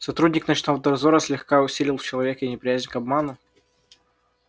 сотрудник ночного дозора слегка усилил в человеке неприязнь к обману